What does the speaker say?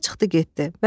Qoca çıxdı getdi.